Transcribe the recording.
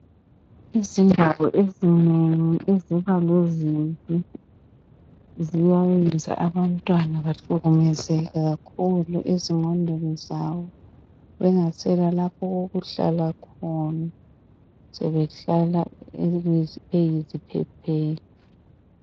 Izindawo ezinengi lebanga elibi ziyayenza abantwana bahlukumezeke kakhulu ezinqondweni zabo bengasela lapho okukhuhlala khona sebeyiziphepheli.